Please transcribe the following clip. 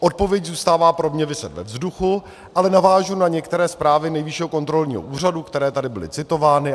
Odpověď zůstává pro mě viset ve vzduchu, ale navážu na některé zprávy Nejvyššího kontrolního úřadu, které tady byly citovány.